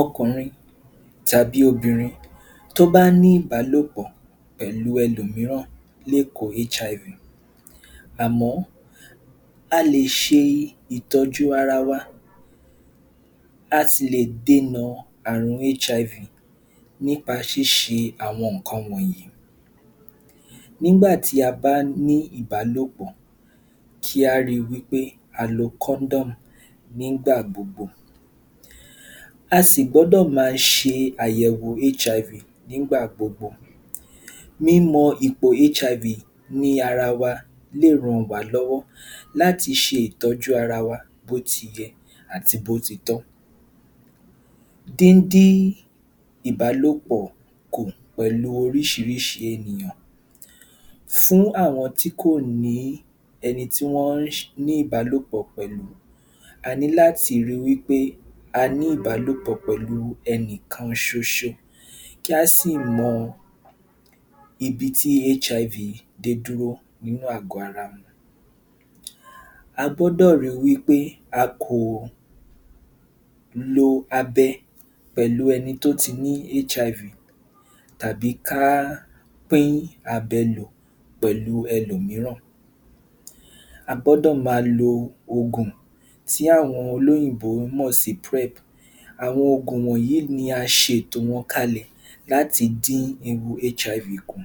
Ọkùnrin tàbí obìnrin tó bá ní ìbálòpọ̀ pẹ̀lú ẹlòmíràn lè kó. Àmọ́ a lè ṣe ìtọ́jú ara wa láti lè dènà àrùn nípa ṣíṣe àwọn nǹkan wọnyìí. Nígbà tí a bá ní ìbálòpọ̀, kí á ri wí pé a lo nígbà gbogbo. A sì gbọ́dọ̀ ma ṣe àyẹ̀wò nígbà gbogbo. Mímọ ìpò ní ara wa lè ràn wá lọ́wọ́ láti ṣe ìtọ́jú ara wa bótiyẹ àti bótitọ́. Díndí ìbálòpọ̀ kù pẹ̀lú oríṣiríṣi ènìyàn. Fún àwọn tí kò ní ẹni tí wọ́n ní ìbálòpọ̀ pẹ̀lú, a ní láti ri wí pé a ní ìbálòpọ̀ pẹ̀lú ẹnìkan ṣoṣo. Kí á sì mọ ibi tí dé dúró nínú àgọ̀ ara. A gbọ́dọ̀ ri wí pé a kò lo abẹ pẹ̀lú ẹni tó ti ní tàbí ká pín abẹ lò pẹ̀lú ẹlòmíràn. A gbọ́dọ̀ máa lo ògùn tí àwọn olóyìnbó mọ̀ sí. Àwọn ògùn wọnyìí ni a ṣètò wọn kalẹ̀ láti dín ewu kù.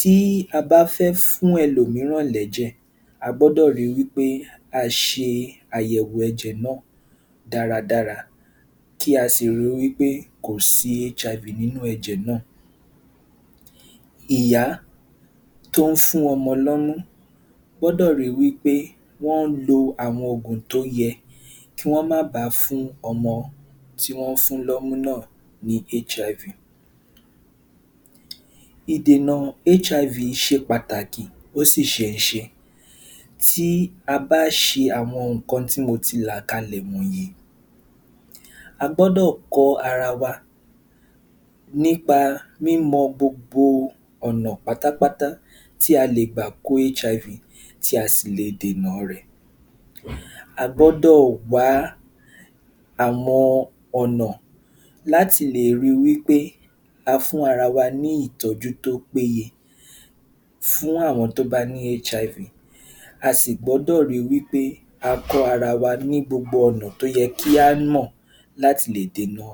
Tí a bá fẹ́ fún ẹlòmíràn lẹ́jẹ̀, a gbọ́dọ̀ ri wí pé a ṣe àyẹ̀wò ẹ̀jẹ̀ náà dáradára kí a sì ri wí pé kò sí nínú ẹ̀jẹ̀ náà. Ìyá tó ń fún ọmọ lọ́mú gbọ́dọ̀ ri wí pé wọn lo àwọn ògùn tó yẹ kán ma bá a fún ọmọ tí wọ́n fún lọ́mú náà ní. Ìdènà se pàtàkì, ó sì ṣenṣe. Tí a bá ṣe àwọn nǹkan tí mo ti là kalẹ̀ wọnyìí, a gbọ́dọ̀ kọ́ ara wa nípa mímọ gbogbo ọ̀nà pátápátá tí a lè gbà kó tí a sì lè dènà rẹ̀. A gbọ́dọ̀ wá àwọn ọ̀nà láti lè ri wí pé a fún ara wa ní ìtọ́jú tó péye fún àwọn tó bá ní. A sì gbọ́dọ̀ ri wí pé a kọ́ ara wa ní gbogbo ọ̀nà tó yẹ kí á mọ̀ láti lè dènà.